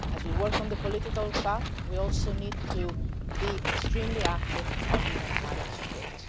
As we work on the political path, we also need to be extremely active on humanitarian support.